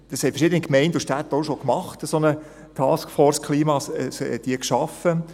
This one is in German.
Verschiedene Gemeinden und Städte haben eine solche Taskforce Klima schon geschaffen.